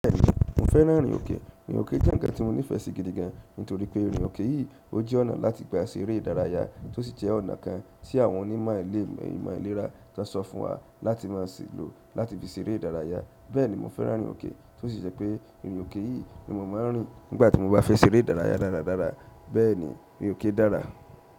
Bẹ́ẹ̀ni, mo fẹ́ràn irin òkè. Irin òkè jẹ́ ǹkan tí mo nífẹ̀ẹ́ sí gidi gan, nítorí pé irin òkè yìí ó jẹ́ ọ̀nà láti gba ẹsẹ̀ eré ìdárayá, tó sì jẹ́ ọ̀nà kan tí àwọn onímọ̀ ilẹ̀ ìmọ̀ ìlera kan sọ fún wa láti máa ṣìlò láti fi ṣeré ìdárayá. Bẹ́ẹ̀ni mo fẹ́ràn irin oke, to si je pe irin oke yi ni mo ma n rin nigbati mo ba fe se ere ìdárayá dáradára. Bẹ́ẹ̀ni, irin òkè dára.